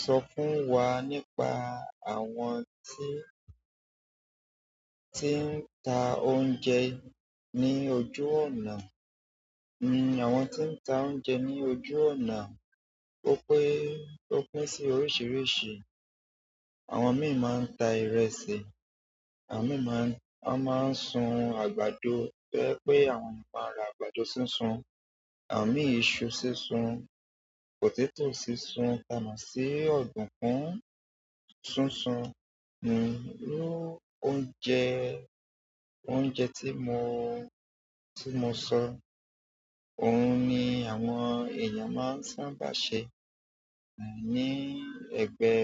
Sọ fún wa nípa àwọn tí, tí ń ta oúnjẹ ní ojú ọ̀nà. Hmm, àwọn tí ń ta oúnjẹ ní ojú ọ̀nà, ó pín, ó pín sí oríṣiríṣi. Àwọn mìíràn máa ń ta ìrẹsì, àwọn mìíràn máa ń, wọ́n máa ń sun àgbàdo to je wipé àwọn èèyàn máa ń ra àgbàdo sísun, àwọn mìí iṣu sísun, potato sísun, ti amọ si odukun, sísun hmm, ló oúnjẹ, oúnjẹ tí mo, tí mo sọ, òun ni àwọn èèyàn máa ń sábà ṣe, ehn, ní ẹ̀gbẹ́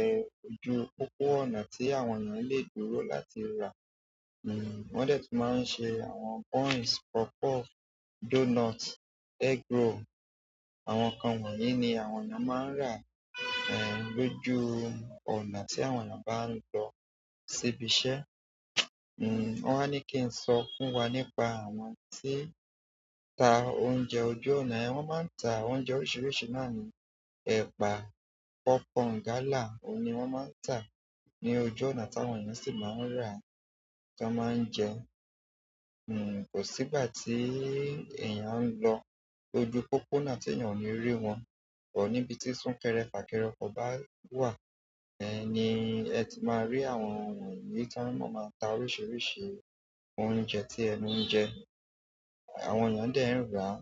ojú pópó ọ̀nà tí àwọn ènìyàn le dúró láti rà. Hmm, wọ́n dẹ̀ tún máa ń ṣe àwọn buns, puff puff, donut, egg roll. Àwọn nǹkan wọ̀nyí ni àwọn ènìyàn máa ń rà, ehn, lójú ọ̀nà tí àwọn ènìyàn bá ń lọ ṣíbí iṣẹ́. Hmm, wọ́n wa ní kí n sọ fún wa nípa àwọn tí n ta oúnjẹ ojú ọ̀nà. Ẹ̀hẹ̀́n, wọ́n máa ń ta àwọn oúnjẹ oríṣiríṣi náà ní, ẹ̀pa, pop corn, gala, òun ni wọ́n máa ń ta ní ojú ọ̀nà tí àwọn ènìyàn sì máa ń rà ti wọ́n máa ń jẹ. Hmm, kò sí ìgbà tí èèyàn ń lọ ojú pópóna tí èèyàn kò ní rí wọn, but níbi tí súnkẹrẹ fàkẹrẹ ọkọ̀ bá wà, ẹ́ ni ẹ ti máa rí àwọn nǹkan wọ̀nyí tí wọ́n mmá má ta oríṣiríṣi oúnjẹ tí ẹnu ń jẹ. Àwọn èèyàn dẹ̀ ń rà á.